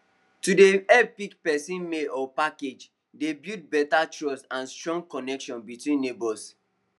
to dey help pick person mail or package dey build better trust and strong connection between neighbors